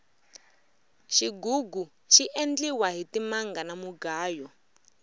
xigugu xi endliwa hi timanga na munganyo